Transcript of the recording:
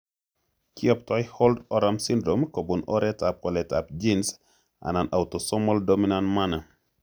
Kiyoptoi holt oram syndrome kobun oretab waletab genes anan autosomal dominant manner.